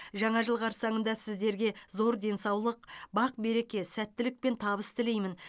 жаңа жыл қарсаңында сіздерге зор денсаулық бақ береке сәттілік пен табыс тілеймін